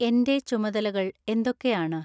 എൻ്റെ ചുമതലകൾ എന്തൊക്കെയാണ്